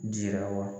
Jira wa